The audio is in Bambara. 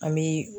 An bi